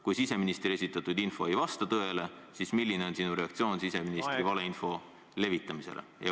Kui siseministri esitatud info ei vasta tõele, siis milline on sinu reaktsioon siseministri valeinfo levitamisele?